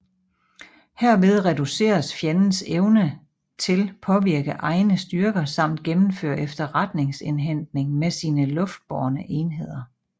Herved reduceres fjendens evne til påvirke egne styrker samt gennemføre efterretningsindhentning med sine luftbårne enheder